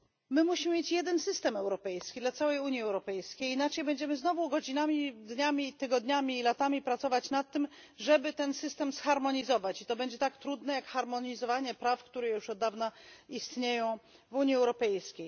My musimy mieć jeden system europejski dla całej Unii Europejskiej, inaczej będziemy znowu godzinami, dniami, tygodniami i latami pracować nad tym, żeby ten system zharmonizować i to będzie tak trudne jak harmonizowanie praw, które już od dawna istnieją w Unii Europejskiej.